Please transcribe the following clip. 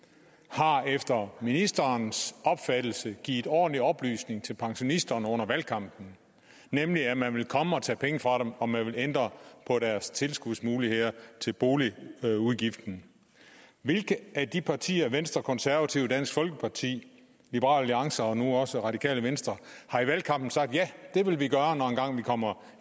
har efter ministerens opfattelse givet ordentlig oplysning til pensionisterne under valgkampen nemlig at man ville komme og tage penge fra dem og at man ville ændre på deres tilskudsmuligheder til boligudgiften hvilke af de partier venstre konservative dansk folkeparti liberal alliance og nu også radikale venstre har i valgkampen sagt ja det vil vi gøre når vi engang kommer